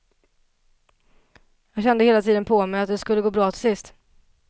Jag kände hela tiden på mig att det skulle gå bra till sist.